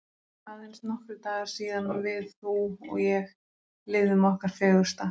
Aðeins nokkrir dagar síðan við þú og ég lifðum okkar fegursta.